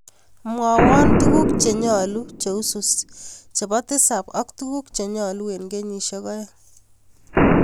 Mwawan tuguk chenyalu cheusus chebo tisab ak tuguk chenyalu en kenyishek aeng